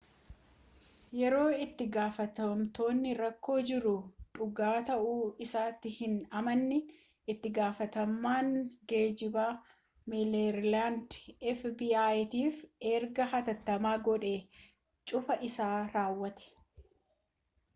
yeroo itti-gaafatamtootni rakkoo jiru dhugaa ta'uu isaatti hin amanin itti-gaafatamaan geejjibaa meeriilaand fbi'tiif ergaa hatattamaa godhee cufaa isaa raawwate